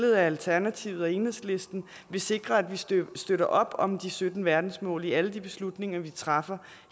af alternativet og enhedslisten vil sikre at vi støtter støtter op om de sytten verdensmål i alle de beslutninger vi træffer